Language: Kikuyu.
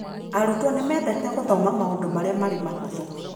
Arutwo nĩ mendete gũthoma maũndũ marĩa marĩ mũhũthũ.